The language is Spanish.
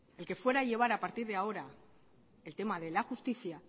el que fuera a llevar a partir de ahora el tema de la justicia